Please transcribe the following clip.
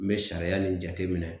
N bɛ sariya nin jateminɛ